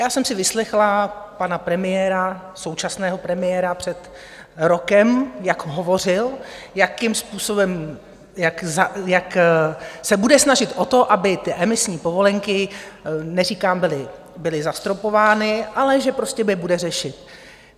Já jsem si vyslechla pana premiéra, současného premiéra, před rokem, jak hovořil, jakým způsobem, jak se bude snažit o to, aby ty emisní povolenky, neříkám, byly zastropovány, ale že prostě je bude řešit.